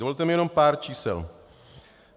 Dovolte mi jenom pár čísel.